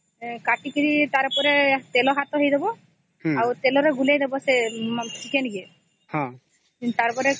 ତାକୁ କାଟି କି ତେଲ ହାତ ହେଇଯିବ ତେଲ ବି ଚିକେନ ରେ ପକେଇ ଗୋଳେଇ ଦେବ -ହୁଁ ହୁଁ ହୁଁ